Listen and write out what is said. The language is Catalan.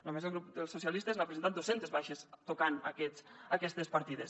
només el grup socialistes n’ha presentat dos cents de baixes tocant aquestes partides